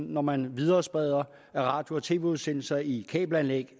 når man viderespreder radio og tv udsendelser i kabelanlæg